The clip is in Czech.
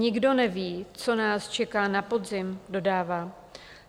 Nikdo neví, co nás čeká na podzim, dodává.